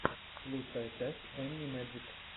лучшая часть энни мэджик